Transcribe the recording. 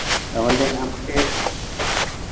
তাহলে আমাকে।